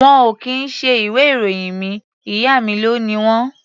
Wọn ò kì í ṣe ìwé-ìròyìn mi. Ìyá mi ló ni wọ́n.